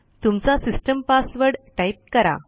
तुमचा system password type करा